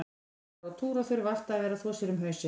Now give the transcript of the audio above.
Þær fara á túr og þurfa alltaf að vera að þvo sér um hausinn.